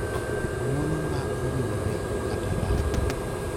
ng’wono ma owinjore, kata lamo.